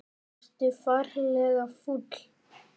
Ertu ferlega fúll?